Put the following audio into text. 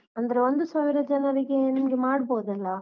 ಅಂದ್ರೆ ಒಂದು ಸಾವಿರ ಜನರಿಗೆ ನಿಮ್ಗೆ ಮಾಡ್ಬೋದಲ್ಲ?